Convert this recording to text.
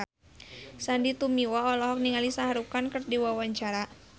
Sandy Tumiwa olohok ningali Shah Rukh Khan keur diwawancara